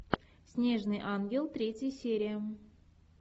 снежный ангел третья серия